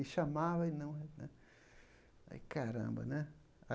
E chamava, e não né... Aí, caramba, né?